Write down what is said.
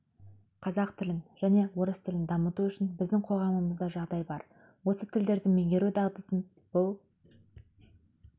қазақ тілін және орыс тілін дамыту үшін біздің қоғамымызда жағдай бар осы тілдерді меңгеру дағдысын бұл